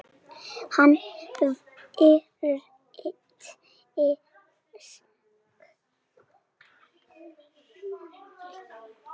Hann virtist ekkert kátur lengur.